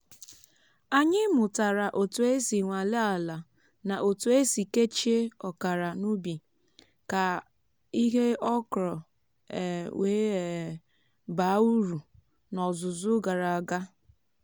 anyị mụtara otu esi nwalee ala na otu esi kechie ọkara n’ubi ka ihe okra um wee um baa uru n’ọzụzụ gara aga